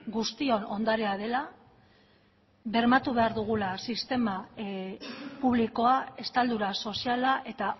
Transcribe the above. guztion ondarea dela bermatu behar dugula sistema publikoa estaldura soziala eta